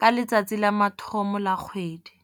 ka letsatsi la mathomo la kgwedi.